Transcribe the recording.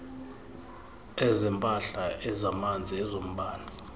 ezempahla ezamanzi ezombane